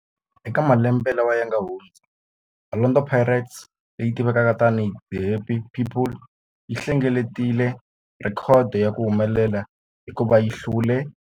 Eka malembe lawa yanga hundza, Orlando Pirates, leyi tivekaka tani hi 'The Happy People', yi hlengeletile rhekhodo ya ku humelela hikuva yi hlule